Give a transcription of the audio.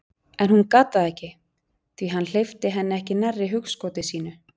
En hún gat það ekki, því hann hleypti henni ekki nærri hugskoti sínu.